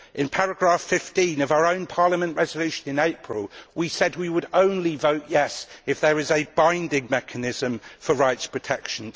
In paragraph 15 of our own Parliament resolution in April, we said we would only vote yes' if there was a binding mechanism for rights protection.